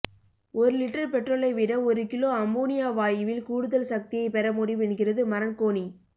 ஒரு லிட்டர் பெட்ரோலைவிட ஒரு கிலோ அம்மோனியா வாயுவில் கூடுதல் சக்தியை பெற முடியும் என்கிறது மரன்கோணி